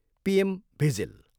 PM vigil.